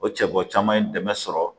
O cɛ bɔ caman ye dɛmɛ sɔrɔ